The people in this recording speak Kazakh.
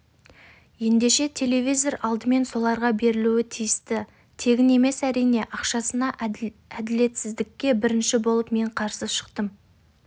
ендеше телевизор алдымен соларға берілуге тиісті тегін емес әрине ақшасына әділетсіздікке бірінші болып мен қарсы шықтым